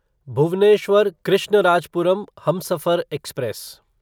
Bhubaneswar Krishnarajapuram Humsafar express